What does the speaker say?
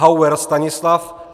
Hauer Stanislav